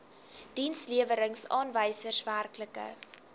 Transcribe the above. dienslewerings aanwysers werklike